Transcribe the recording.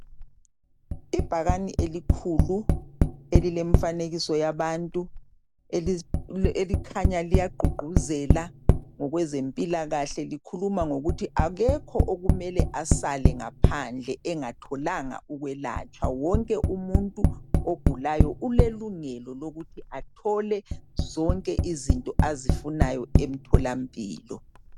Ibhakani elikhulu elilemfanekiso yabantu elikhanya liyagqugquzela ngokwezempilakahle likhuluma ngokuthi akekho okumele asale ngaphandle engatholanga ukwelatshwa wonke umuntu ulelungelo lokuthi athole zonke izinto azifunayo emtholampilo